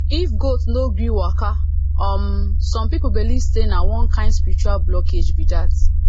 if goat no gree waka um some people believe say na one kind spiritual blockage be that